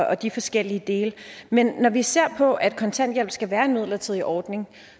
og de forskellige dele men når vi ser på at kontanthjælp skal være en midlertidig ordning